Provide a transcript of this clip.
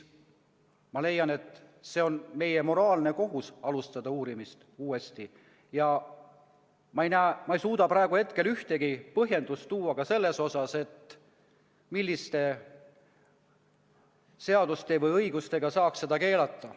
Ma leian, et on meie moraalne kohus alustada uurimist uuesti, ja ma ei suuda praegu ühtegi põhjendust tuua ka selle kohta, milliste seaduste või õigustega saaks seda keelata.